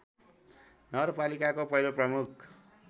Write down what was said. नगरपालिकाको पहिलो प्रमुख